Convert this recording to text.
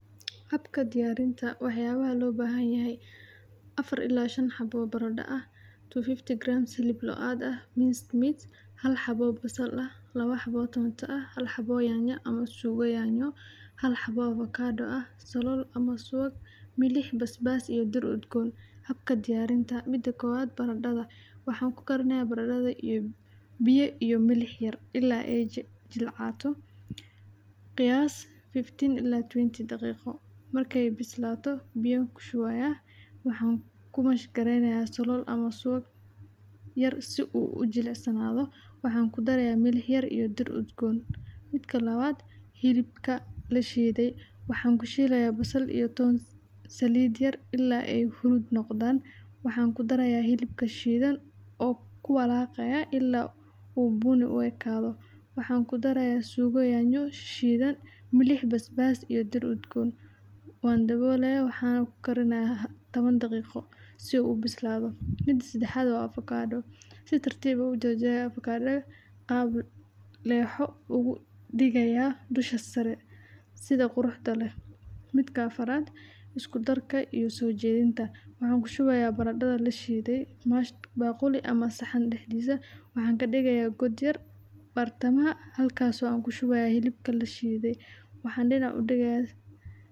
Waa cunto caan ah oo ka soo jeeda Kenya, gaar ahaan dadka Kikuyu, waxaana lagu sameeyaa saliidda, digir, baris, caleemo qaba, iyo doog, waxayna noqon kartaa mid la cuno marka lagu daro nyama choma ama miciro yar, waxayna leedahay dhadhan macaan oo ay ku jiraan khudaarta iyo xawaajinta, waxayna u badan tahay in lagu kariyo xilliyada aroosyada, xafladaha, iyo dhacdooyinka qarsoon, waxaana lagu sheegaa inay tahay cunto wanaagsan oo quudka u fiican maxaa yeelay waxay ku jirtaa nafaqooyin badan.